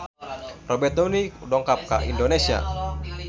Robert Downey dongkap ka Indonesia